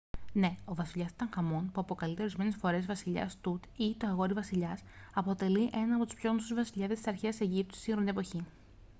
ναι! ο βασιλιάς τουταγχαμών που αποκαλείται ορισμένες φορές «βασιλιάς τουτ» ή «το αγόρι-βασιλιάς» αποτελεί έναν από τους πιο γνωστούς βασιλιάδες της αρχαίας αιγύπτου στη σύγχρονη εποχή